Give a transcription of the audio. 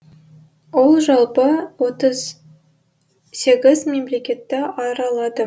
ол жалпы отыз сегіз мемлекетті аралады